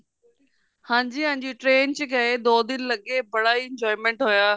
ਹਾਂਜੀ ਹਾਂਜੀ train ਚ ਗਏ ਦੋ ਦਿਨ ਲੱਗੇ ਬੜਾ enjoyment ਹੋਇਆ